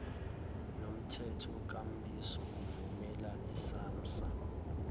lomthethokambiso uvumela isamsa